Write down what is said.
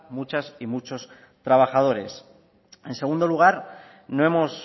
muchas y muchos trabajadores en segundo lugar no hemos